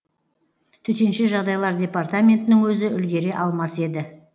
төтенше жағдайлар департаментінің өзі үлгере алмас еді